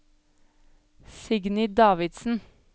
Signy Davidsen